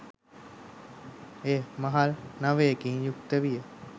එය මහල් නවයකින් යුක්ත විය.